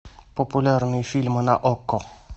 популярные фильмы на окко